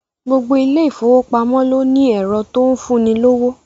Gbogbo ilé ìfowópamọ́ ló ní ẹ̀rọ tó ń fún ni lówó